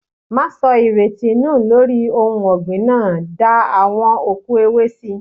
Máa sọ ìrètí nù lórí ohun ọ̀gbìn náà, da awon òkú ewé síi.